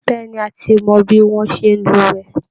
Bẹ́ẹ̀ ni, a ti mọ bí wọ́n ṣe é lúwẹ̀ẹ́